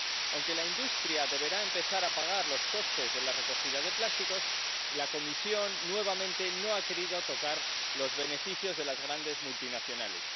Aunque la industria deberá empezar a pagar los costes de la recogida de plásticos, la Comisión nuevamente no ha querido tocar los beneficios de las grandes multinacionales.